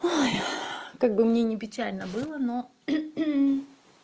ой как бы мне ни печально было но